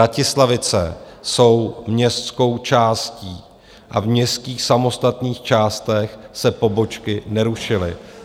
Vratislavice jsou městskou částí a v městských samostatných částech se pobočky nerušily.